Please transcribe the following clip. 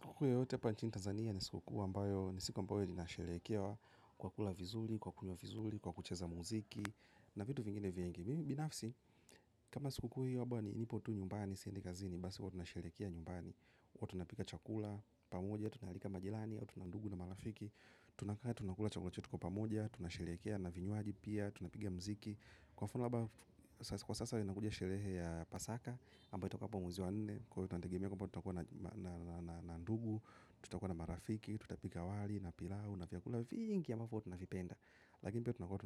Kukwe hote pa nchini Tanzania ni siku kwa mbayo ni siku mbayo ni nasherekewa kwa kula vizuli, kwa kunyo vizuli, kwa kucheza muziki na vitu vingine vienge. Mimi binafsi kama siku kwa hiyo wabwa ni nipotu nyumbani siendika zini basi kwa tunasherekewa nyumbani, kwa tunapika chakula pamoja, tunalika majilani, kwa tunandugu na malafiki, tunakaya tunakula chakula chetukwa pamoja, tunasherekewa na vinyuaji pia, tunapigia mziki. Kwa sasa tunangoja sherehe ya pasaka ambayo itakuwa hapo mwezi wa nne tuwaalika ndugu na marafika tukuwa na chakula pamoja